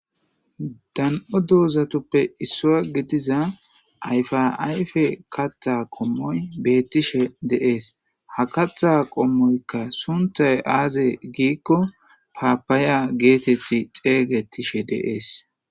Dan'o dozzatuppe isuwa giddiza ayiba ayiffe kaththa qomoy betteshe de'es ha kaththa qomoyikka sunththay aze gikko papaya getitiza xesetishshe de'es.